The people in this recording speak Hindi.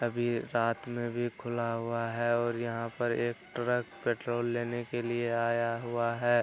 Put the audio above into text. अभी रात में भी खुला हुआ है और यहाँ पर एक ट्रक पेट्रोल लेने के लिए आया हुआ है।